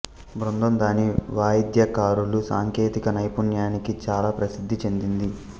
బృందం దాని వాయిద్యకారుల సాంకేతిక నైపుణ్యానికి చాలా ప్రసిద్ధి చెందింది